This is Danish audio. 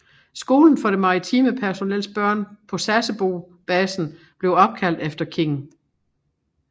Skolen for det maritime personels børn på Sasebo basenb blev opkaldt efter King